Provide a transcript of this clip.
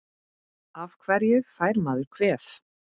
Af hverju fær maður kvef?